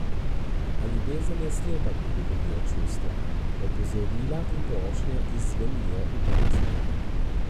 A ljubezen je slepa, ko govorijo čustva, opozorila in prošnje izzvenijo v prazno.